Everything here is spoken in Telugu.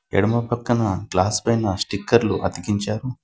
ఎడమ పక్కన గ్లాస్ పైన స్టిక్కర్లు అతికించారు.